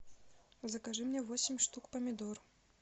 закажи мне восемь штук помидор